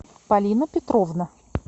полина петровна